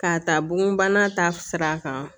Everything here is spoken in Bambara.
K'a ta bonbana ta sira kan